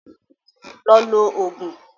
Lọ lo Ògùn!